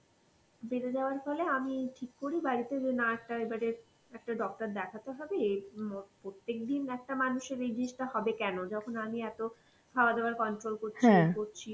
বেড়ে যাওয়ার ফলে আমি ঠিক করি বাড়িতে যে না একটা এবারে একটা doctor দেখাতে হবে উম প্রত্যেকদিন একটা মানুষের এই জিনিসটা হবে কেন যখন আমি এত খাওয়া দাওয়ার control করছি ইয়ে করছি